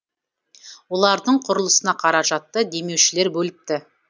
олардың құрылысына қаражатты демеушілер бөліпті